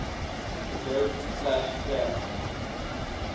adobe flash player